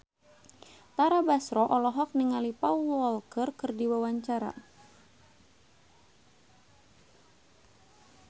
Tara Basro olohok ningali Paul Walker keur diwawancara